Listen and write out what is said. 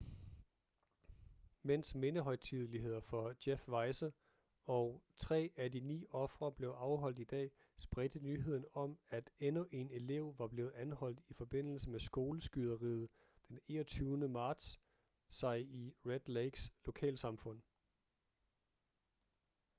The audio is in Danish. mens mindehøjtideligheder for jeff weise og tre af de ni ofre blev afholdt i dag spredte nyheden om at endnu en elev var blevet anholdt i forbindelse med skoleskyderiet d 21. marts sig i red lakes lokalsamfund